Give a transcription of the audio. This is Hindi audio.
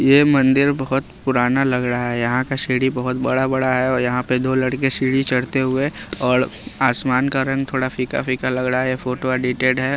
ये मंदिर बहुत पुराना लग रहा है यहाँ का सीढ़ी बहुत बड़ा-बड़ा है औ यहाँ पर दो लड़के सीढ़ी चढ़ते हुए और आसमान का रंग थोड़ा फीका-फीका लग रहा है यह फोटो एडिटेड है।